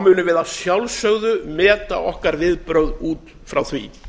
munum við að sjálfsögðu meta okkar viðbrögð út frá því